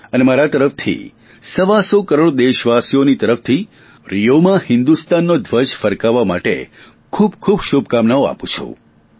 અને મારા તરફથી સવાસો કરોડ દેશવાસીઓની તરફથી રિયોમાં હિન્દુસ્તાનનો ધ્વજ ફરકાવવા માટે ખૂબખૂબ શુભકામનાઓ આપું છું